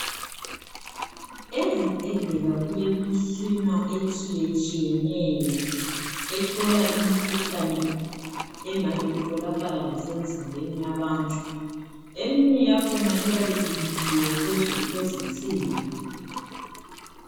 Ezibhedlela kulemitshina etshiyetshiyeneyo ehlola imikhuhlane engabe itholakala lasemzimbeni yabantu. Eminye yakhona iyabe imisiwe phezulu kwezinsimbi.